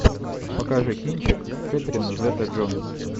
покажи кинчик кэтрин зета джонс